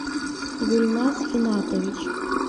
гульнас финатович